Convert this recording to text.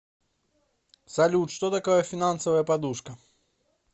салют что такое финансовая подушка